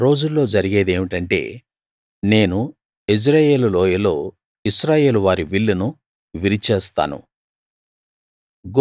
ఆ రోజుల్లో జరిగేది ఏమిటంటే నేను యెజ్రెయేలు లోయలో ఇశ్రాయేలు వారి విల్లును విరిచేస్తాను